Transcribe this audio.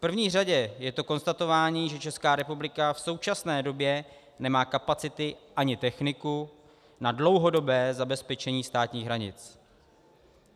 V první řadě je to konstatování, že Česká republika v současné době nemá kapacity ani techniku na dlouhodobé zabezpečení státních hranic.